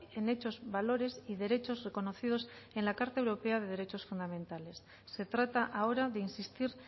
en hechos valores y derechos reconocidos en la carta europea de derechos fundamentales se trata ahora de insistir